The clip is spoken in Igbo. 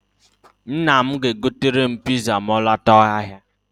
Nna m ga-egotere m piza ma ọ lọta ahịa.